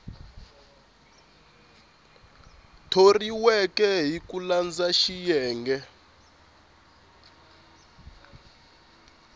thoriweke hi ku landza xiyenge